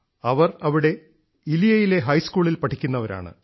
ഇവർ അവിടെ ഇലിയയിലെ ഹൈസ്കൂളിൽ പഠിക്കുന്നവരാണ്